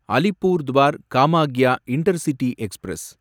Alipurduar Kamakhya intercity express